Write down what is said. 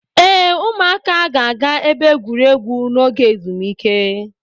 Ee, ụmụaka ga-aga ebe egwuregwu n'oge ezumike